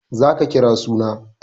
Za ka kira suna!